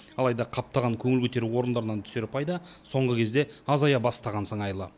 алайда қаптаған көңіл көтеру орындарынан түсер пайда соңғы кезде азая бастаған сыңайлы